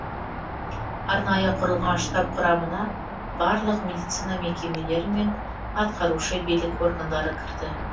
арнайы құрылған штаб құрамына барлық медицина мекемелері мен атқарушы билік органдары кірді